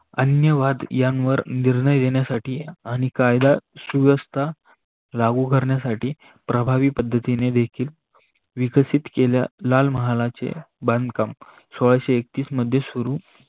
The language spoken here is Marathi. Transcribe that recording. अन्यवाद यांवर निर्णय घेण्यासाठी आणि कायदा सुव्यवस्था लागू करण्यासाठी प्रभावी पडतीने विकसित केला. लालमहालाचे बांधकाम सोळाशे एकतीस मध्ये सुरु